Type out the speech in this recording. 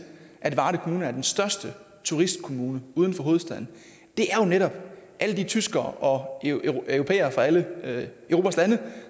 at varde kommune er den største turistkommune uden for hovedstaden er jo netop alle de tyskere og europæere fra alle lande